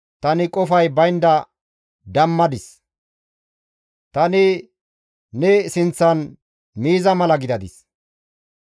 tani qofay baynda dammadis; tani ne sinththan miiza mala gidadis.